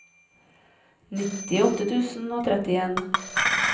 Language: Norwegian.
nittiåtte tusen og trettien